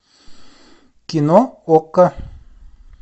кино окко